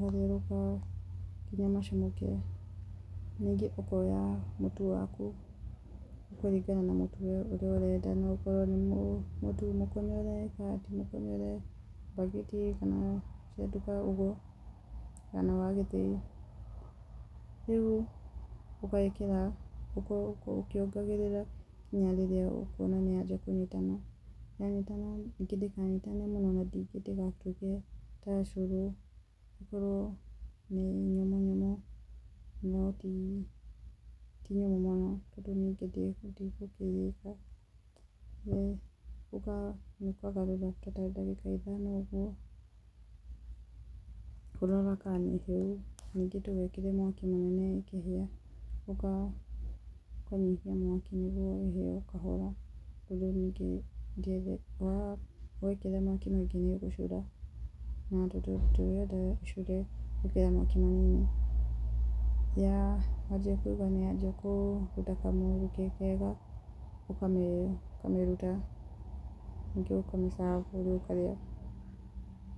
matherũka kana macamũka ningĩ ũkoya mũtu waku nĩgũkũringana na mũtu ũrĩa ũrenda, no ũkorwo nĩ mũtu mũkonyore kana rĩngĩ ti mũkonyore, mbagiti wa gĩthĩi kana wa nduka. Akorwo nĩ wa gũthiĩ rĩu ũgekĩra gũkũ ũkĩongagĩrĩra nginya rĩrĩa ũkuona nĩwanjia kũnyitana. Yanyitana ningĩ ndĩkanyitane mũno, ningĩ ndĩgatuĩke ta ũcũrũ, ũkorwo ti nyũmũ mũno tondũ ngima ndingĩkĩrĩka. Ningĩ nĩyendaga ũgaikara ũkĩgarũra ta ndagĩka ithano nĩguo ngima ĩhĩe, ũkĩroraga ka nĩhĩu ningĩ ndũgekĩre mwaki mũnini, niguo ngima ĩkĩhĩe. Ningĩ ndũgekĩre mwaki mũingĩ niguo ndĩgagĩcure, wĩkĩre mwaki mũnini. Wanjisa kũigua nĩyanjia kũruta kamũruke kega ũkamĩruta ningĩ ũkamĩ serve niguo ĩkarĩywo.